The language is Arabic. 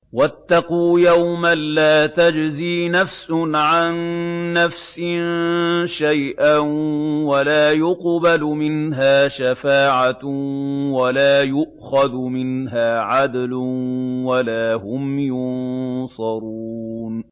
وَاتَّقُوا يَوْمًا لَّا تَجْزِي نَفْسٌ عَن نَّفْسٍ شَيْئًا وَلَا يُقْبَلُ مِنْهَا شَفَاعَةٌ وَلَا يُؤْخَذُ مِنْهَا عَدْلٌ وَلَا هُمْ يُنصَرُونَ